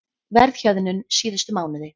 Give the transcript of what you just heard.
Verðhjöðnun síðustu mánuði